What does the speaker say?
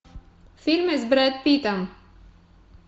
фильмы с брэд питтом